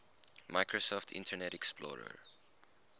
microsoft internet explorer